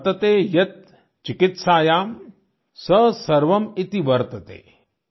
वतर्ते यत् चिकित्सायां स सवर्म इति वर्तते